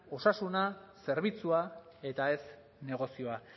osasuna zerbitzua eta ez negozioa